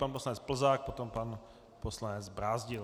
Pan poslanec Plzák, potom pan poslanec Brázdil.